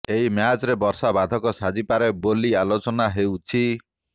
ଏହି ମ୍ୟାଚ୍ରେ ବର୍ଷା ବାଧକ ସାଜିପାରେ ବୋଲି ଆଲୋଚନା ହେଉଛି